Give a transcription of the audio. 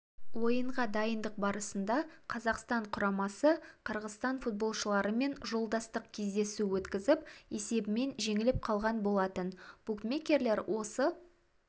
ойынға дайындық барысында қазақстан құрамасы қырғызстан футболшыларымен жолдастық кездесу өткізіп есебімен жеңіліп қалған болатын букмекелер осы